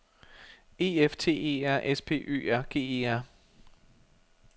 E F T E R S P Ø R G E R